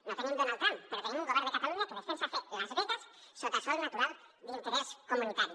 no tenim donald trump però tenim un govern de catalunya que defensa fer las vegas en sòl natural d’interès comunitari